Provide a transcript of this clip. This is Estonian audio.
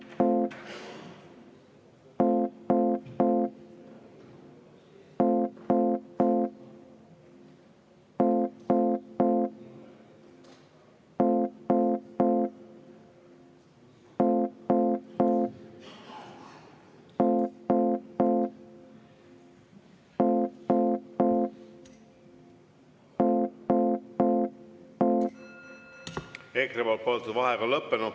EKRE poolt palutud vaheaeg on lõppenud.